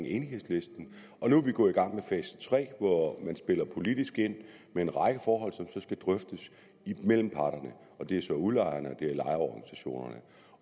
enighedslisten nu er vi gået i gang med fase tre hvor man spiller politisk ind med en række forhold som så skal drøftes mellem parterne og det er så udlejerne